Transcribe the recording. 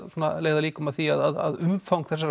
leiða líkum á því að umfang þessarar